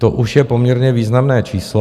To už je poměrně významné číslo.